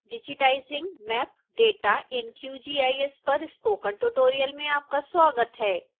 digitizing map data in qgis पर spoken tutorial में आपका स्वागत है